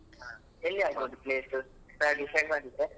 ಎಲ್ಲಿ ಆಗ್ಬಹುದು place ಎಂತ decide ಮಾಡಿದ್ರಾ?